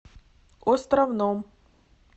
островном